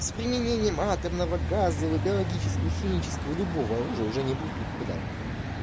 с применением атомного газа биологического химического любого оружия уже не будет никогда в мире